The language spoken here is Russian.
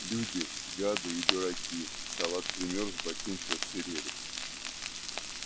люди гады и дураки салат примёрз ботинки отсырели